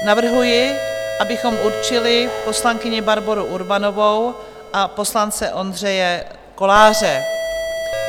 Navrhuji, abychom určili poslankyni Barboru Urbanovou a poslance Ondřeje Koláře.